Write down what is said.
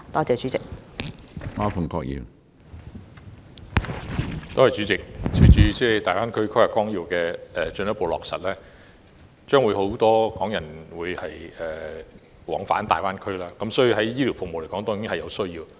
主席，隨着《規劃綱要》進一步落實，將會有很多港人往返大灣區，所以會有醫療服務方面的需要。